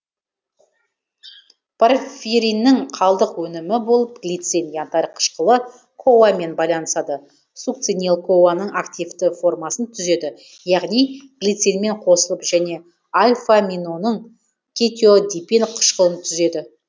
порфириннің қалдық өнімі болып глицин янтарь қышқылы коа мен байланысады сукцинил коа ның активті формасын түзеді яғни глицинмен қосылып және альфоаминоны кетеоадипин қышқылын түзеді